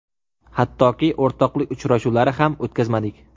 Hattoki, o‘rtoqlik uchrashuvlari ham o‘tkazmadik.